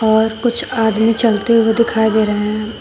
और कुछ आदमी चलते हुए दिखाई दे रहे हैं।